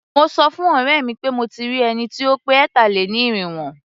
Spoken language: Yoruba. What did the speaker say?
Mo sọ fún ọ̀rẹ́ mi pé mí ò tí ì rí ẹni tí ó pé ẹ̀tà-lé-ní-irínwó.